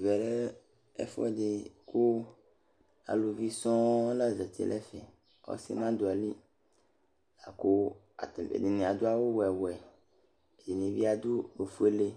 Ɛʋɛ lɛ ɛfuɛdi ku aluʋɩ sɔɔ la zeti n'ɛfɛ k'ɔsi n'adu ayi lɩ, laku atani ɛdini adu awu 'wɛ 'wɛ, ɛdini bi adu ofuele